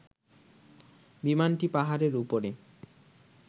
বিমানটি পাহাড়ের উপরে